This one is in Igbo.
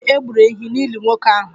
Ee, e gburu ehi n'ili nwoke ahụ